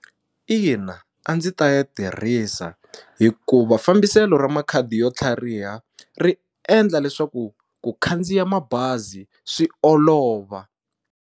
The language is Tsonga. Ina a ndzi ta ya tirhisa hikuva fambiselo ra makhadi yo tlhariha ri endla leswaku ku khandziya mabazi swi olova.